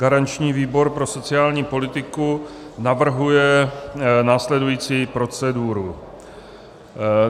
Garanční výbor pro sociální politiku navrhuje následující proceduru.